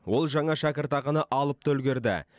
ол жаңа шәкіртақыны алып та үлгерді